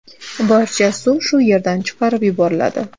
Barcha suv shu yerdan chiqarib yuboriladi.